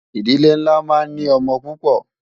ìdílé nlá má ń ní ọ̀mò púpò